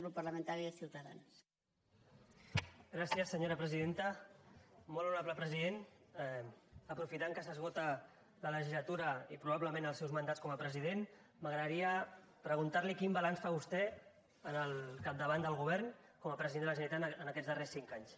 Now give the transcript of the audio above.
molt honorable president aprofitant que s’esgota la legislatura i probablement els seus mandats com a president m’agradaria preguntar li quin balanç fa vostè al capdavant del govern com a president de la generalitat en aquests darrers cinc anys